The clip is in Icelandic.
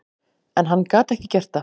En hann gat ekki gert það.